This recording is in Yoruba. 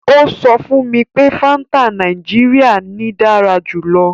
Ó sọ fún mi pé Fanta Nàìjíríà ni dára jù lọ.